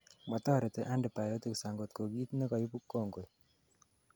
motoreti antibiotics angot ko kiit nekoibu kongoi